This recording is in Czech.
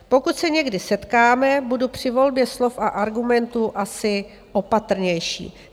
Pokud se někdy setkáme, budu při volbě slov a argumentů asi opatrnější.